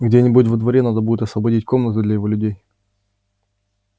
где-нибудь во дворе надо будет освободить комнаты для его людей